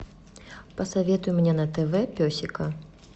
посоветуй мне на тв песика